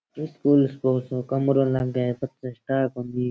ये फुल सो कमरों लागे है --